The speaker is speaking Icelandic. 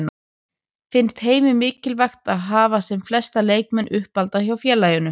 Finnst Heimi mikilvægt að hafa sem flesta leikmenn uppalda hjá félaginu?